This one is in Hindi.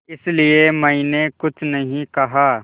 इसलिए मैंने कुछ नहीं कहा